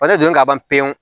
donni ka ban pewu